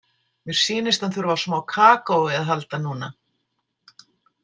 Mér sýnist hann þurfa á smá kakói að halda núna.